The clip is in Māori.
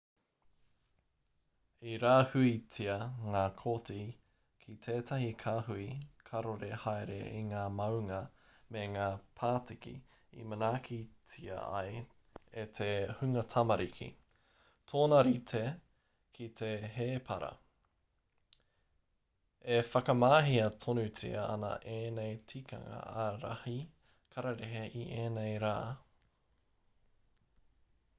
i rāhuitia ngā koti ki tētahi kāhui karore haere i ngā maunga me ngā pātiki i manaakitia ai e te hunga tamariki tōna rite ki te hēpara e whakamahia tonutia ana ēnei tikanga ārahi kararehe i ēnei rā